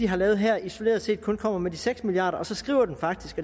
har lavet her isoleret set kun kommer med de seks milliard kroner og så skriver man faktisk